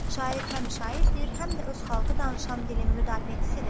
Şair həm şairdir, həm də öz xalqı danışan dilin müdafiəçisidir.